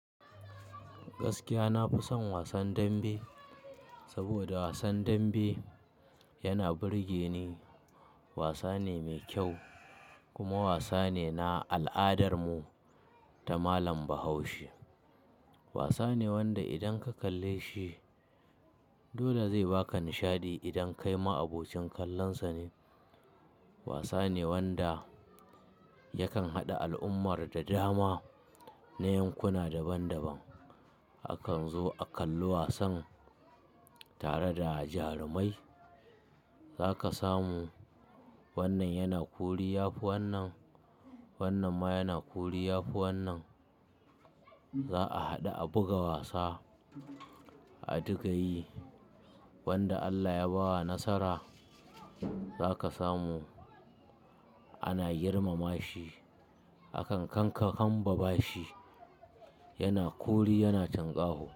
Gaskiya na fi son wasan dambe, saboda wasan dambe yana burge ni. Wasa ne mai kyau kuma wasa ne na al'adar mu ta malam Bahaushe. Wasa ne wanda idan ka kalle shi dole zai baka nishadi idan kai ma abokin kallon sa ne. Wasa ne wanda yakan haɗa al'ummar da dama na yankuna daban daban. Akan zo a kalli wasan tare da jarumai. Za ka samu wannan yana kori yafi wannan, wannan ma yana kori yafi wannan. Za a haɗu a buga wasa, a duka yi. Wanda Allah ya bawa nasara za ka samu ana girmama shi. Akan kanka hambabashi, yana kori yana tinkaho.